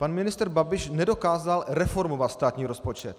Pan ministr Babiš nedokázal reformovat státní rozpočet.